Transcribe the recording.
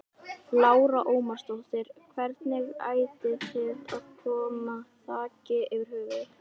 Lára Ómarsdóttir: Hvernig ætið þið að koma þaki yfir höfuðið?